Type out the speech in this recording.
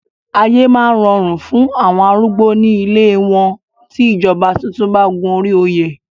Ayé máa rọrùn fún àwọn arúgbó ní ilée wọn tí ìjọba tuntun bá gun orí òye.